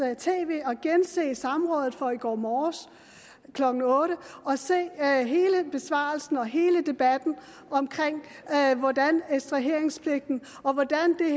tv og gense samrådet fra i går morges klokken otte og se hele besvarelsen og hele debatten omkring hvordan ekstraheringspligten og hvordan det er